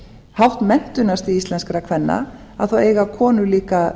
hátt menntunarstig íslenskra kvenna eiga íslenskar konur líka